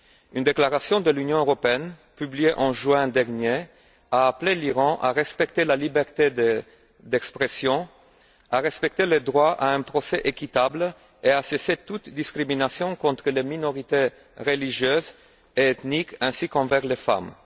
Une déclaration de l'Union européenne, publiée en juin dernier, a appelé l'Iran à respecter la liberté d'expression, à respecter le droit à un procès équitable et à cesser toute discrimination contre les minorités religieuses et ethniques ainsi qu'envers les femmes.